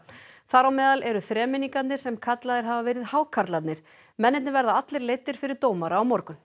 þar á meðal eru þremenningarnir sem kallaðir hafa verið hákarlarnir mennirnir verða allir leiddir fyrir dómara á morgun